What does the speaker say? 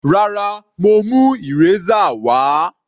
Rárá, mo mú eraser wà á.